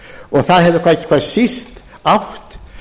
og það hefur ekki hvað síst átt